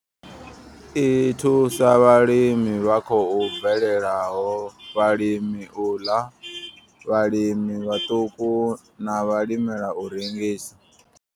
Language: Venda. I thusa vhalimi vha khou bvelelaho, vhalimela u ḽa, vhalimi vhaṱuku na vhalimela u rengisa.